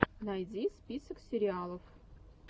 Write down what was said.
найди список сериалов